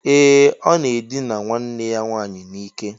Ee! Ọ na-edina nwanne ya nwaanyị n'ike.